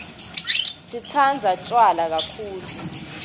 sireqatsamdzi tjwala kaktulu